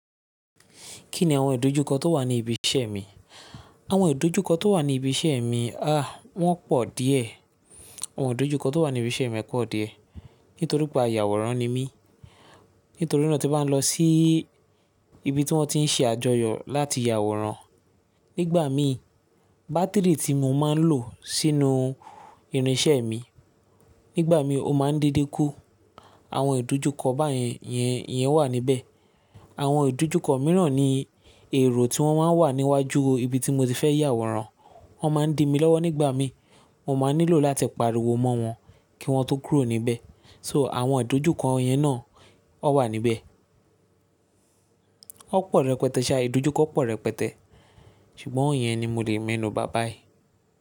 Kí ni àwọn ìdojúkọ tó wà ní ibi iṣẹ́ mi? Àwọn ìdojúkọ tó wà ní ibi iṣẹ́ mi, ah wọ́n pọ̀ díẹ̀. Àwọn ìdojúkọ tó wà ní ibi iṣẹ́ mi pọ̀ díẹ̀. Nítorí pé ayàwòrán ni mí, nítorí náà tí mo bá ń lọ sí ibi tí wọ́n ti ń ṣe àjọyọ̀ láti yàwòrán, nígbà mí bátìrì tí mo máa ń lò sínú irin iṣẹ́ mi, nígbà mí ó máa ń dede kú. Àwọn ìdojúkọ báyẹn yẹn, yẹn wà níbẹ̀. Àwọn ìdojúkọ mìíràn ni èrò tí wọ́n máa ń wà níwájú ibi tí mo ti fẹ́ yàwòrán. Wọ́n máa ń di mí lọ́wọ́ nígbà mí, mo máa nílò láti pariwo mọ́ wọn kí wọ́n tó kúrò níbẹ̀. So àwọn ìdojúkọ yẹn náà ó wà níbẹ̀. Ó pọ̀ rẹpẹtẹ ṣá, ìdojúkọ pọ̀ rẹpẹtẹ. Ṣùgbọ́n iyẹn ni mo lè me nù ba báyìí.